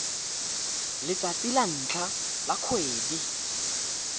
letsatsi la ntlha la kgwedi